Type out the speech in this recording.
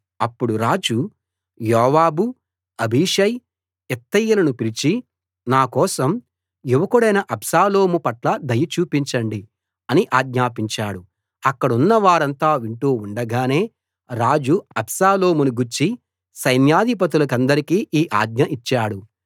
అప్పుడు రాజు యోవాబు అబీషై ఇత్తయిలను పిలిచి నా కోసం యువకుడైన అబ్షాలోము పట్ల దయ చూపించండి అని ఆజ్ఞాపించాడు అక్కడున్నవారంతా వింటూ ఉండగానే రాజు అబ్షాలోమును గూర్చి సైన్యాధిపతులకందరికీ ఈ ఆజ్ఞ ఇచ్చాడు